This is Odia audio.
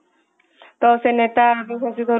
ତ ସେ ନେତା